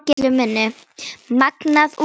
Magnað útsýni!